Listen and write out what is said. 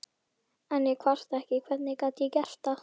En ég kvarta ekki, hvernig gæti ég gert það?